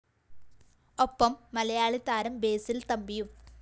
ഒപ്പം മലയാളി താരം ബസിൽ തമ്പിയും